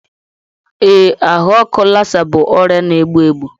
Ee, ahụ ọkụ Lassa bụ ọrịa na-egbu egbu.